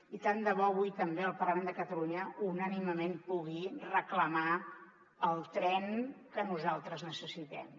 i tant de bo avui també el parlament de catalunya unànimement pugui reclamar el tren que nosaltres necessitem